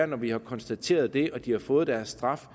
når vi har konstateret det og de har fået deres straf